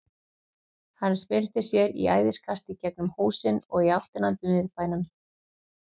Hann spyrnti sér í æðiskasti í gegnum húsin og í áttina að miðbænum.